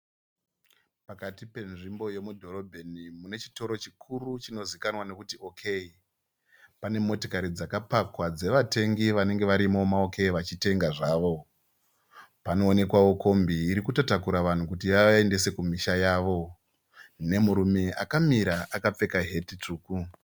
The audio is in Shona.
Pakati penzvimbo yemudhorobheni munechitoro chikuru chinozivikanwa nekuti OK , pane motokari dzakapakwa dzevatengi vanengevarimo ma Ok vachitenga zvavo. Panoonekwavo kombi irikutotakura vanhu kuti ivaendese kumusha yavo nemurume akapfeka heti tsvuku.